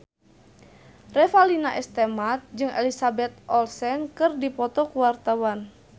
Revalina S. Temat jeung Elizabeth Olsen keur dipoto ku wartawan